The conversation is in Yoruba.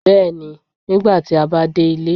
bẹẹni, nìgbàtì a ba dé ilé.